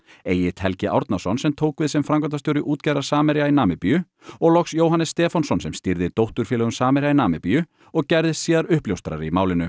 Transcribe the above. Egill Helgi Árnason sem tók við sem framkvæmdastjóri útgerðar Samherja í Namibíu og loks Jóhannes Stefánsson sem stýrði dótturfélögum Samherja í Namibíu og gerðist síðar uppljóstrari í málinu